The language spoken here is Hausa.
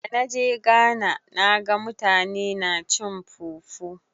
Da na je Ghana na ga mutane na cin fufu.